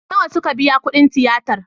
Nawa suka biya kudin tiyatar?